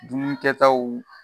Dumuni kɛ taw